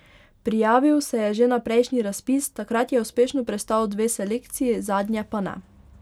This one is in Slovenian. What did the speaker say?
Prijavil se je že na prejšnji razpis, takrat je uspešno prestal dve selekciji, zadnje pa ne.